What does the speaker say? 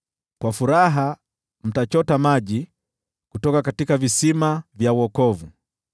Kwa furaha mtachota maji kutoka visima vya wokovu.